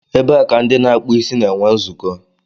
Ebe a ka ndị na-akpụ isí na-enwe nzukọ.